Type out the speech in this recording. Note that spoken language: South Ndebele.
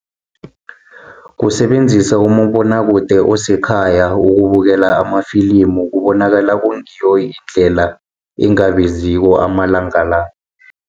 Kusebenzisa umabonwakude, osekhaya ukubukela amafilimu kubonakala kungiyo indlela engabiziko amalanga la.